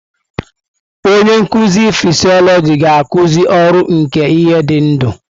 Onye nkuzi fịsiolojị ga-akuzi ọrụ nke ihe dị ndụ.